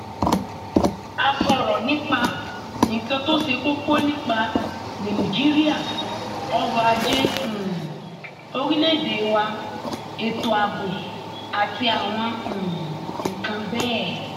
a sọrọ nípa àwọn nǹkan tó ṣe kókó nípa nàìjíríà ọrọ ajé um orílẹèdè wa ètò ààbò àti àwọn um nǹkan bẹẹ